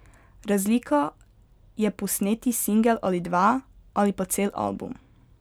Razlika je posneti singel ali dva, ali pa cel album.